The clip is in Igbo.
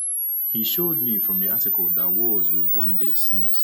He showed me from the Article that wars would one day cease.